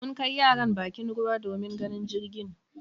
Mun kai yaran bakin ruwa domin ganin jirgin.